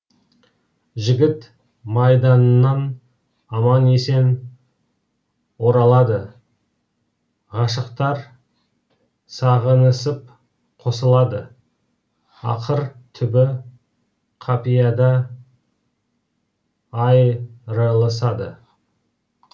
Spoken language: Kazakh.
жігіт майданнан аман есен оралады ғашықтар сағынысып қосылады ақыр түбі қапияда айрылысады